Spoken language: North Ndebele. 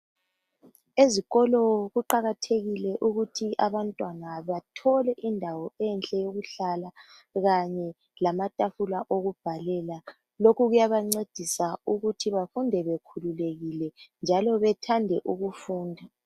Ezikolo kuqakathekile ukuthi abantwana bathole indawo enhle yokuhlala kanye lamatafula okubhalela. Lokhu kuyabancedisa ukuthi bafunde bekhululekile njalo bethande ukufunda.